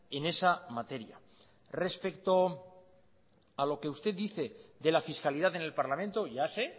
en esa materia respecto a lo que usted dice de la fiscalidad en el parlamento ya sé